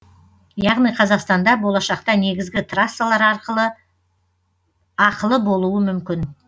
яғни қазақстанда болашақта негізгі трассалар ақылы болуы мүмкін